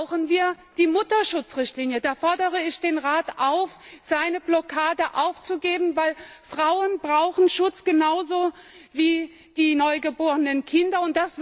Dazu brauchen wir die Mutterschutzrichtlinie. Da fordere ich den Rat auf, seine Blockade aufzugeben, denn Frauen brauchen Schutz genauso wie die neugeborenen Kinder.